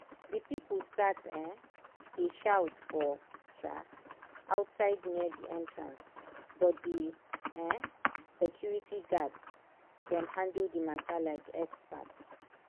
the people start um dey shout for um outside near the entrancebut the um security guards dem handle the matter like expert.